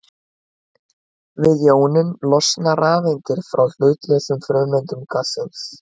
Við jónun losna rafeindir frá hlutlausum frumeindum gassins.